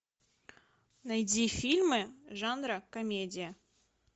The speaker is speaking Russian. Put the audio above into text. найди фильмы жанра комедия